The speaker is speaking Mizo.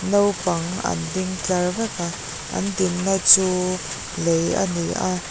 naupang an ding tlar vek a an dinna chu lei a ni a.